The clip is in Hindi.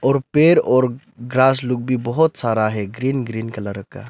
और पेड़ और ग्रास लोग भी बहुत सारा है ग्रीन ग्रीन कलर का।